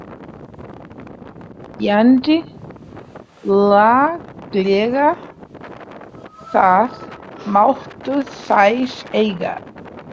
Fjandi laglegar, það máttu þær eiga.